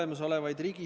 Hästi!